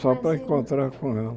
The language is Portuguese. Só para encontrar com ela.